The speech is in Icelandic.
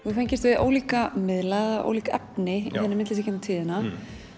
hefur fengist við ólíka miðla eða ólík efni í þinni myndlist í gegnum tíðina